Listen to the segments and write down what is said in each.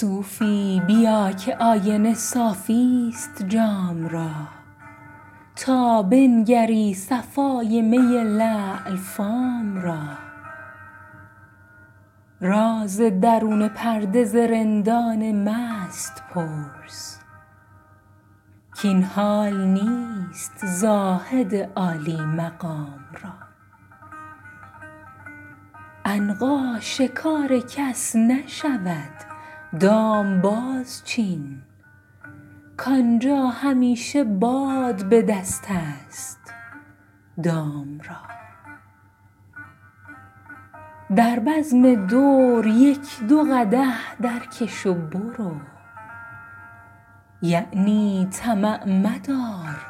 صوفی بیا که آینه صافی ست جام را تا بنگری صفای می لعل فام را راز درون پرده ز رندان مست پرس کاین حال نیست زاهد عالی مقام را عنقا شکار کس نشود دام بازچین کآنجا همیشه باد به دست است دام را در بزم دور یک دو قدح درکش و برو یعنی طمع مدار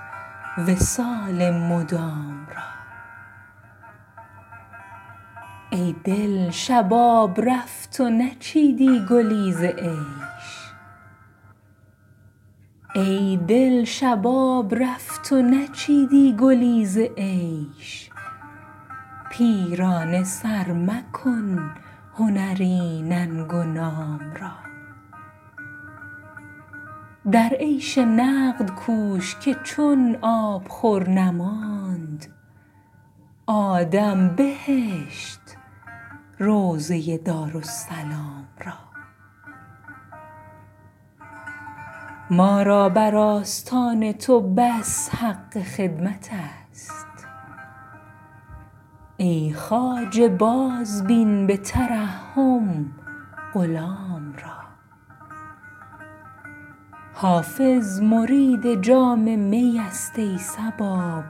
وصال مدام را ای دل شباب رفت و نچیدی گلی ز عیش پیرانه سر مکن هنری ننگ و نام را در عیش نقد کوش که چون آبخور نماند آدم بهشت روضه دارالسلام را ما را بر آستان تو بس حق خدمت است ای خواجه بازبین به ترحم غلام را حافظ مرید جام می است ای صبا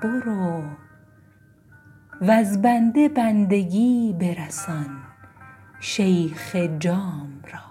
برو وز بنده بندگی برسان شیخ جام را